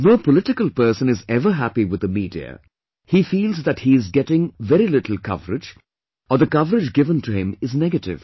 No political person is ever happy with the media, he feels that he is getting a very little coverage or the coverage given to him is negative